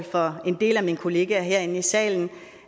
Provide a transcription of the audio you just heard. for en del af mine kollegaer herinde i salen